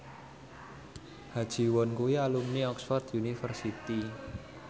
Ha Ji Won kuwi alumni Oxford university